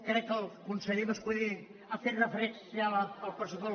crec que el conseller mas·colell ha fet re·ferència al pressupost